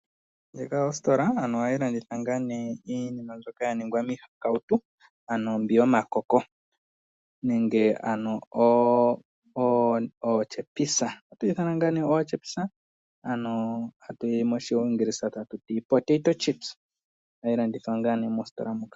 Ndjika ositola ano ohayilanditha nga ne iinima mbyoka yaningwa miihakawutu ano mbi yomakoko, nenge ano otyepisa ano moshingilisa hatuti potato chips, ohadhilanditha nga mositola moka.